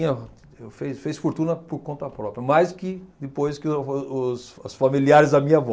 Fe fez fortuna por conta própria, mais que depois que o vo os familiares da minha avó.